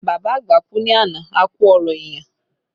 Bàbá àgbà kú ní àná, a ku ọrọ èèyàn